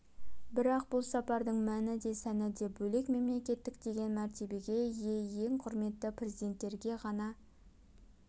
бірақ бұл сапардың мәні де сәні де бөлек мемлекеттік деген мәртебеге ие ең құрметті президенттерге ғана